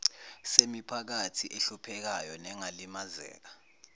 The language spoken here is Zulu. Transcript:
semiphakathi ehluphekayo nengalimazeka